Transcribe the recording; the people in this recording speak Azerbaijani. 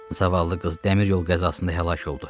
Zavallı qız dəmir yol qəzasında həlak oldu.